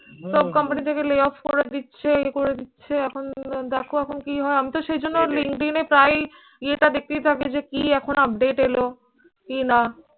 সব কোম্পানি থেকে lay off করে দিচ্ছে, ইয়ে করে দিচ্ছে। এখন দেখো এখন কি হয়, আমি তো সেই জন্য linkedin এ প্রায়ই ইয়েটা দেখতেই থাকি যে কি এখন update এলো কি না?